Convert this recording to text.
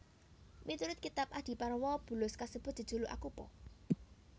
Miturut kitab Adiparwa bulus kasebut jejuluk Akupa